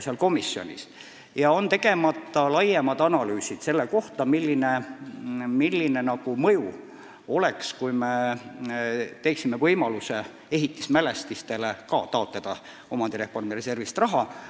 Tegemata on näiteks laiemad analüüsid selle kohta, milline mõju oleks, kui me võimaldaksime ka ehitismälestistele omandireformi reservist raha taotleda.